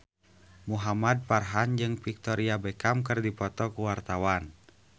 Muhamad Farhan jeung Victoria Beckham keur dipoto ku wartawan